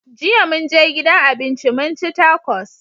Jiya mun je gidan abinci mun ci takos.